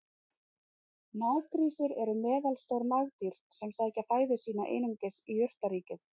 Naggrísir eru meðalstór nagdýr sem sækja fæðu sína einungis í jurtaríkið.